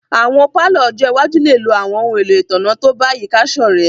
Awọn palọ ọ́jọ iwaju le lo awọn ohun elo itanna to bayika sorẹ̀